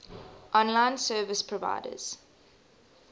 online service providers